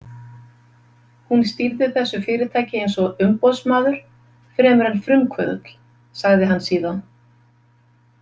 Hún stýrði þessu fyrirtæki eins og umboðsmaður fremur en frumkvöðull, sagði hann síðan.